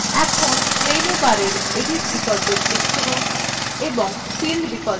এখন menu bar edit বিকল্পে click করুন এবং fill বিকল্পে যান